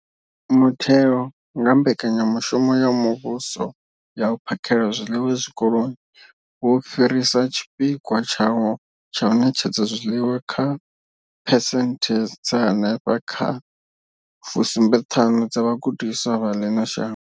Mutheo, nga kha Mbekanya mushumo ya Muvhuso ya U phakhela zwiḽiwa Zwikoloni, wo fhirisa tshipikwa tshawo tsha u ṋetshedza zwiḽiwa kha phesenthe dza henefha kha fusumbe thanu kha vhagudiswa vha ḽino shango.